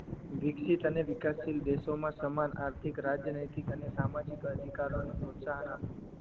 વિકસિત અને વિકાસશીલ દેશોઓ માં સમાન આર્થિક રાજનૈતિક અને સામાજિક અધિકારોને પ્રોત્સાહન આપવું